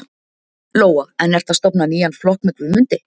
Lóa: En ertu að stofna nýjan flokk með Guðmundi?